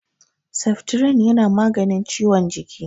Seftirin yana maganin ciwon jiki.